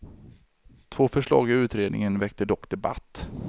Två förslag i utredningen väckte dock debatt.